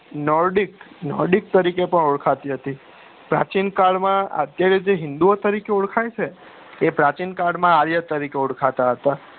Nordic Nordic તરીકે પણ ઓળખાતી હતી પ્રાચીન કાળ માં જે રીતે હિંદુ તરીકે ઓળખાય છે તે પ્રચીન કાળ માં આર્યો તરીકે ઓળખાતા હતા